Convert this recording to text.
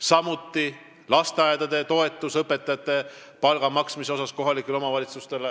Samuti toetus kohalikele omavalitsustele lasteaiaõpetajatele suurema palga maksmiseks.